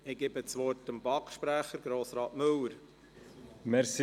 Ich gebe dem BaK-Sprecher, Grossrat Müller, das Wort.